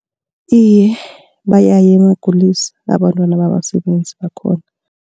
Iye, bayaya eenkulisa abantwana babasebenzi bakhona.